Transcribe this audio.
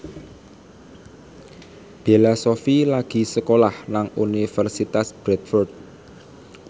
Bella Shofie lagi sekolah nang Universitas Bradford